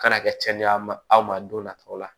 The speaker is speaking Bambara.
Kana kɛ cɛniy'a ma aw ma don nataw la